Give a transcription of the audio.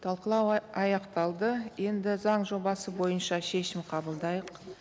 талқылау аяқталды енді заң жобасы бойынша шешім қабылдайық